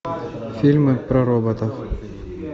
фильмы про роботов